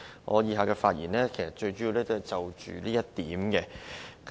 我以下主要是就這一點發言。